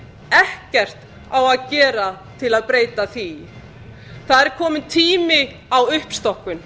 ekkert á að gera til að breyta því það er kominn tími á uppstokkun